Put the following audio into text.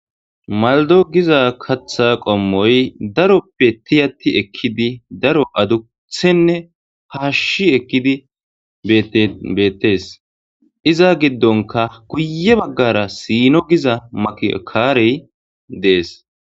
Malido giza katha qomoy darope tiyat ekid daro adusene fashi ekid betes. Iza gidonka guye bagara sino giza maki karey des.